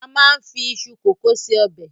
A máa ń fi iṣu kòkó se ọbẹ̀.